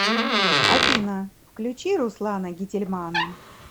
афина включи руслана гительмана